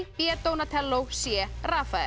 b c